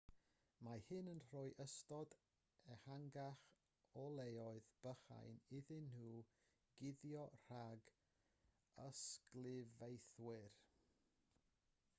mae hyn yn rhoi ystod ehangach o leoedd bychain iddyn nhw guddio rhag ysglyfaethwyr